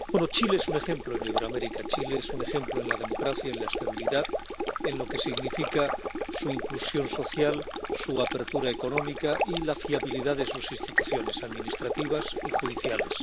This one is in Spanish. Chile es un ejemplo en Iberoamérica. Chile es un ejemplo en la democracia, en la estabilidad, en lo que significa su inclusión social, su apertura económica y la fiabilidad de sus instituciones administrativas y judiciales.